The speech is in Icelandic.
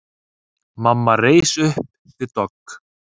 Mamma reis upp við dogg.